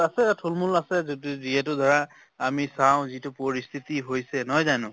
আছে থুল মূল আছে, যদি যিহেতু ধৰা আমি চাওঁ যিটো পৰিস্থিতি হৈছে নহয় জানো?